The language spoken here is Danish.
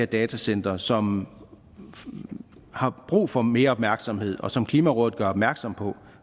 datacentre som har brug for mere opmærksomhed og som klimarådet gør opmærksom på